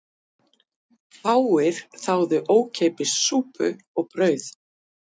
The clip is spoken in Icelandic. Fáir þáðu ókeypis súpu og brauð